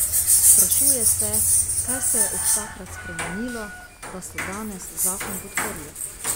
Sprašuje se, kaj se je od takrat spremenilo, da so danes zakon podprli.